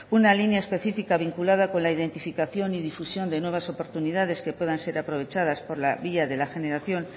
una línea específica vinculada con la identificación y difusión de nuevas oportunidades que puedan ser aprovechadas por la vía de la generación